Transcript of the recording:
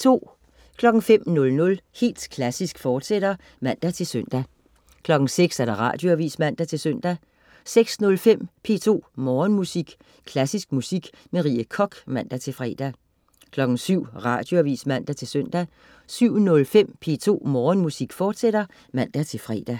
05.00 Helt Klassisk, fortsat (man-søn) 06.00 Radioavis (man-søn) 06.05 P2 Morgenmusik. Klassisk musik med Rie Koch (man-fre) 07.00 Radioavis (man-søn) 07.05 P2 Morgenmusik, fortsat (man-fre)